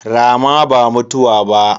Rama ba mutuwa ba.